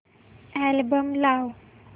album लाव